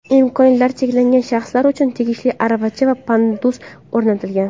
Imkoniyatlari cheklangan shaxslar uchun tegishli aravacha va pandus o‘rnatilgan.